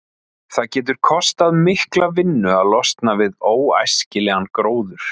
Það getur kostað mikla vinnu að losna við óæskilegan gróður.